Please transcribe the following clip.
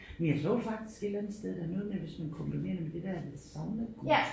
Men jeg så faktisk et eller andet sted der er noget med hvis man kombinerer det med det der saunagus